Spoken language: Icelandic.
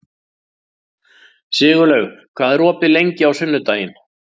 Sigurlaug, hvað er opið lengi á sunnudaginn?